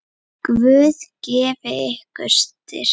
Guð gefi ykkur styrk.